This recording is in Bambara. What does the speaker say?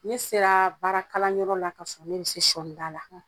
Ne seraa baarakalanyɔrɔ la kasɔrɔ ne be se sɔɔnida la .